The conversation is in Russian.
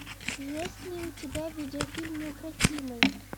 есть ли у тебя видеофильм неукротимый